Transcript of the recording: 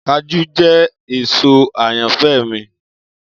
Kajú jẹ èso ayanfẹ mi.